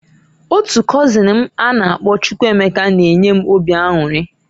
Otu kozin m a na -akpọ Chukwuemeka na-enye m obi anwuri.